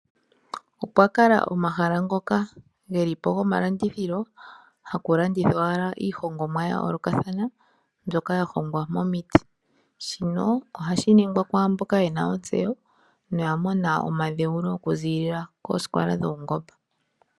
Opwakala omahala ngoka gelipo gomalandithilo haku landithwa owala iihongomwa ya yoolakathana mbyoka yahongwa momiti. Shino ohashi ningwa kwaamboka yena nontseyo noyamona omadhewulo oku ziilila posikola dhapau ngomba .